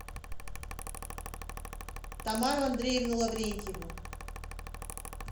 тамару андреевну лаврентьеву